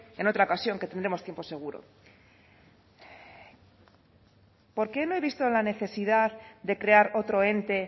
en otra ocasión que tendremos tiempo seguro por qué me he visto en la necesidad de crear otro ente